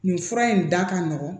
Nin fura in da ka nɔgɔn